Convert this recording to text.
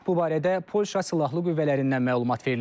Bu barədə Polşa silahlı qüvvələrindən məlumat verilib.